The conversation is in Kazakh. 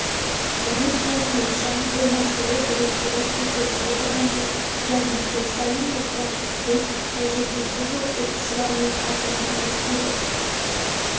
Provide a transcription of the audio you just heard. оның айтуынша бұл мәселе бірінші рет көтеріліп отырған жоқ және жыл сайын бұл процестен тәжірибесі жоқ оқушылар мен ата-аналар өтеді